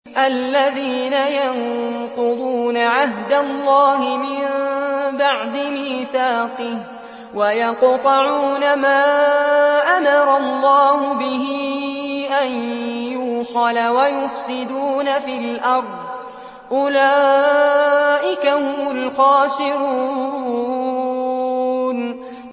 الَّذِينَ يَنقُضُونَ عَهْدَ اللَّهِ مِن بَعْدِ مِيثَاقِهِ وَيَقْطَعُونَ مَا أَمَرَ اللَّهُ بِهِ أَن يُوصَلَ وَيُفْسِدُونَ فِي الْأَرْضِ ۚ أُولَٰئِكَ هُمُ الْخَاسِرُونَ